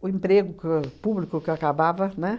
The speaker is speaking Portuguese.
o emprego que público que eu acabava, né?